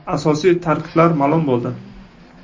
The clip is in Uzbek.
Asosiy tarkiblar ma’lum bo‘ldi.